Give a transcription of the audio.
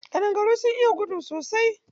Ƙadangaru sun iya gudu sosai.